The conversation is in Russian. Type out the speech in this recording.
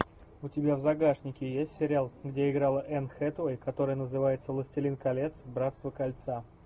у тебя в загашнике есть сериал где играла энн хэтэуэй который называется властелин колец братство кольца